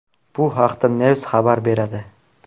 Bu haqda Knews xabar beradi .